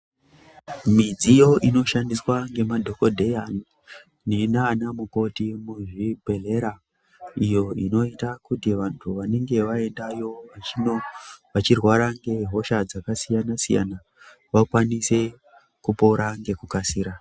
Midziyo inoshandiswa ngemadhokodheya neana mukoti muzvibhodhlera iyo inoita kuti vantu vanenge vaendayo vachirwara ngehosha dzakasiyana siyana vakwanise kurapa nekukasira.